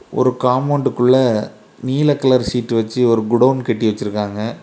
ஒரு காம்பவுண்டுக்குள்ள நீல கலர் சீட்டு வச்சு ஒரு குடோன் கட்டி வச்சிருக்காங்க.